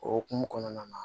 O hokumu kɔnɔna na